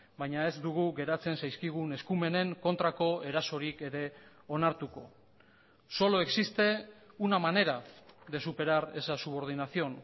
baina ez dugu geratzen zaizkigun eskumenen kontrako erasorik ere onartuko solo existe una manera de superar esa subordinación